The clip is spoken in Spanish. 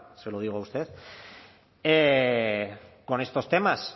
se lo digo a usted con estos temas